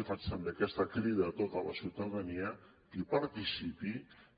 i faig també aquesta crida a tota la ciutadania que hi participi